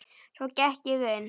Svo gekk ég inn.